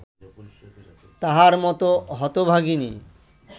তাহার মত হতভাগিনী